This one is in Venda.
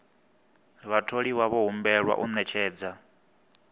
vhatholiwa vho humbelwa u ṅetshedza